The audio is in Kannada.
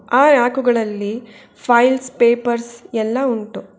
ಆ ರಾಕುಗಳಲ್ಲಿ ಫೈಲ್ಸ್ ಪೇಪರ್ಸ್ ಎಲ್ಲಾ ಉಂಟು.